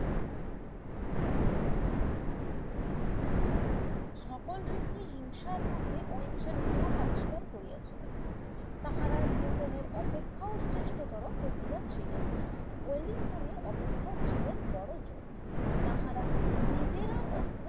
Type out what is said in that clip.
সকল রীতি হিংসার মধ্যে অহিংসার নিয়ম আবিষ্কার করিয়াছিলেন তাহারা নিউটন এর অপেক্ষাও সৃষ্টতর করতে ছিলেন ওয়েলিংটনের অপেক্ষাও ছিলেন বড় যোদ্ধা তাহারা নিজেরা অস্ত্রের